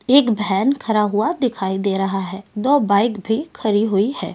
एक वैन खड़ा हुआ दिखाई दे रहा है दो बाइक भी खड़ी हुई है।